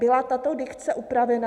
Byla tato dikce upravena?